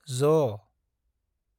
ज